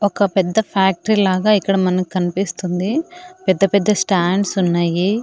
ఒక పెద్ద ఫ్యాక్టరీ లాగా ఇక్కడ మనకనిపిస్తుంది పెద్ద పెద్ద స్టాండ్స్ ఉన్నాయి.